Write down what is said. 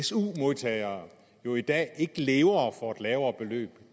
su modtagere jo i dag ikke lever for et lavere beløb